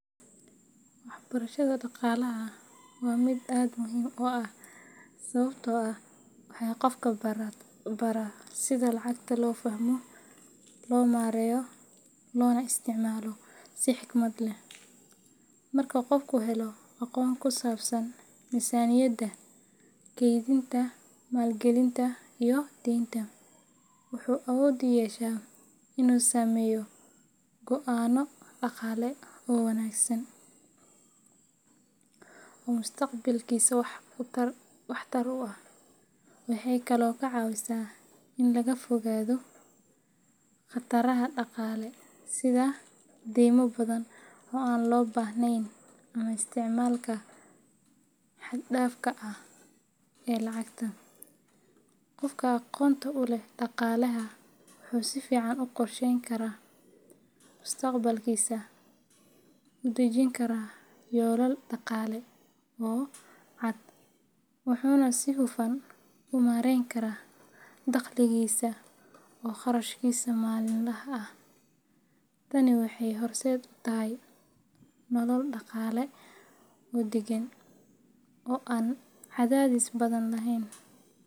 Waxbarashada dhaqaalaha waa mid aad muhiim u ah sababtoo ah waxay qofka baraa sida lacagta loo fahmo, loo maareeyo, loona isticmaalo si xikmad leh. Marka qofku helo aqoon ku saabsan miisaaniyadda, kaydinta, maalgelinta, iyo deynta, wuxuu awood u yeeshaa inuu sameeyo go'aanno dhaqaale oo wanaagsan oo mustaqbalkiisa waxtar u leh. Waxay kaloo ka caawisaa in laga fogaado khataraha dhaqaale sida deymo badan oo aan loo baahnayn ama isticmaalka xad-dhaafka ah ee lacagta. Qofka aqoonta u leh dhaqaalaha wuxuu si fiican u qorsheyn karaa mustaqbalkiisa, u dejin karaa yoolal dhaqaale oo cad, wuxuuna si hufan u maarayn karaa dakhligiisa iyo kharashkiisa maalinlaha ah. Tani waxay horseed u tahay nolol dhaqaale oo deggan, oo aan cadaadis badan lahayn.